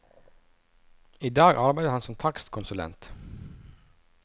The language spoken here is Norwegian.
I dag arbeider han som takstkonsulent.